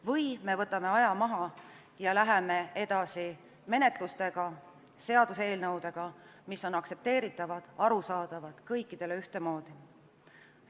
Vahest võtame aja maha ja läheme edasi, esitades seaduseelnõusid, mis on aktsepteeritavad ja kõikidele ühtemoodi arusaadavad.